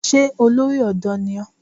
Ṣé olórí ọ̀dọ́ ni ó?